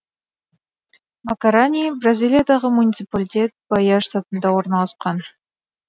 макарани бразилиядағы муниципалитет баия штатында орналасқан